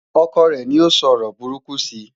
ọkọ rè ní o sọ ọrọ buruku si